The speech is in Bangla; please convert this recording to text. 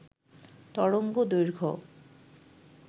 তরঙ্গ দৈর্ঘ্য